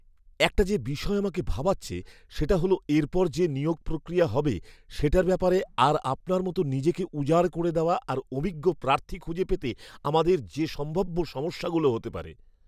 একটা যে বিষয় আমাকে ভাবাচ্ছে সেটা হল এরপর যে নিয়োগ প্রক্রিয়া হবে সেটার ব্যাপারে আর আপনার মতো নিজেকে উজাড় করে দেওয়া আর অভিজ্ঞ প্রার্থী খুঁজে পেতে আমাদের যে সম্ভাব্য সমস্যাগুলো হতে পারে।